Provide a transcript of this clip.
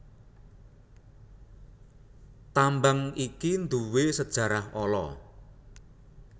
Tambang iki nduwé sajarah ala